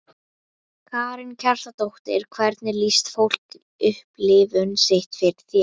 Karen Kjartansdóttir: Hvernig lýsti fólk upplifun sinni fyrir þér?